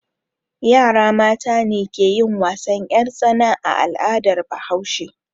Yara mata ne ke yin wasan 'yartsana a al'adar Bahaushe.